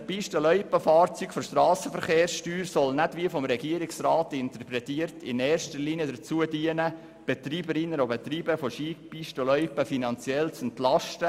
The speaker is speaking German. Die Befreiung der Pisten- und Loipenfahrzeuge von der Strassenverkehrssteuer soll nicht primär dazu dienen, die Betreiberinnen und Betreiber von Skipisten und Loipen finanziell zu entlasten, wie der Regierungsrat interpretiert.